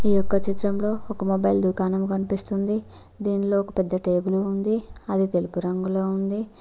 ఈ ఒక చిత్రంలో ఒక మొబైల్ దుకాణం కనిపిస్తుంది ఇంట్లో ఒక పెద్ద టేబుల్ ఉంది అది తెలుగు రంగులో ఉంది.